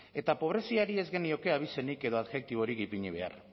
eta pobreziari ez genioke abizenik edo adjektiborik ipini behar